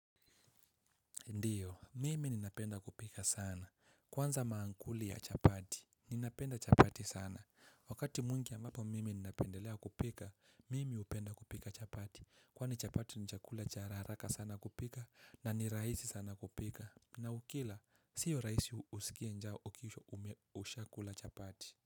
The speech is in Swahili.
Ndiyo mimi ninapenda kupika sana kwanza maankuli ya chapati ninapenda chapati sana wakati mwingi ambapo mimi ninapendelea kupika mimi hupenda kupika chapati kwani chapati ni chakula hararaka sana kupika na ni rahisi sana kupika na ukila sio rahisi uskie njaa uki ushakula chapati.